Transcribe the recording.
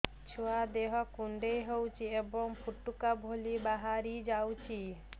ଛୁଆ ଦେହ କୁଣ୍ଡେଇ ହଉଛି ଏବଂ ଫୁଟୁକା ଭଳି ବାହାରିଯାଉଛି